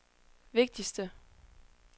vigtigste